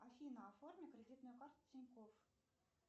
афина оформи кредитную карту тинькофф